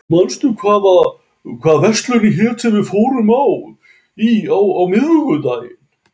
Friðbjörn, manstu hvað verslunin hét sem við fórum í á miðvikudaginn?